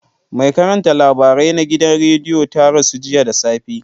Mai karanta labarai na gidan rediyo ta rasu jiya da safe.